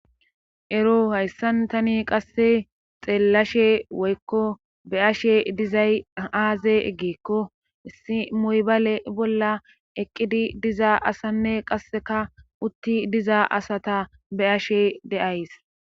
ero hayssan tani qasse xeellashe woykko be7ashe dizay aaze eggeekko issi moybale bolla eqqidi diza asanne qasseka utti diza asata be7ashe de7ays